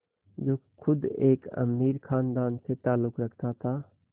जो ख़ुद एक अमीर ख़ानदान से ताल्लुक़ रखता था